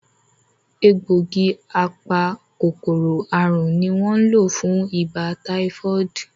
Egbògi apa-kòkòrò àrùn ní won lọ fún ibà táífọ́ọ̀dù